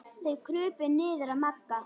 Þeir krupu niður að Magga.